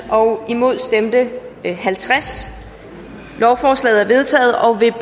imod stemte halvtreds lovforslaget